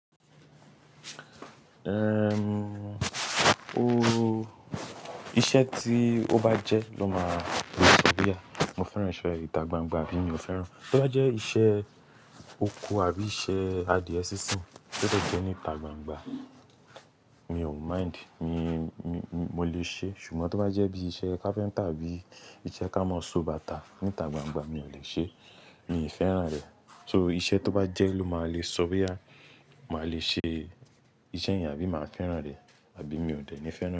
Erm, o, iṣẹ́ tí ó bá jẹ́ ló máa le sọ wíá. Mo fẹ́ràn iṣẹ́ ìtà gbangba àbí mi ò fẹ́ràn. Tó bá jẹ́ iṣẹ́ oko àbí iṣẹ́ adìẹ sísìn, tó bá jẹ́ ní ìtà gbangba, mi ò mind. Mi, mi, mo lè ṣe. Ṣùgbọ́n tó bá jẹ́ bí iṣẹ́ carpenter àbí iṣẹ́ ká mọ́ so bàtà ní ìtà gbangba, mi ò lè ṣe. Mi ò fẹ́ràn rẹ̀. So iṣẹ́ tó bá jẹ́ ló máa lè sọ boyá. Máa lè ṣe iṣẹ́ ènìyàn bí màá fẹ́ràn rẹ̀, àbí mi ò dẹ̀ ní fẹ́ràn.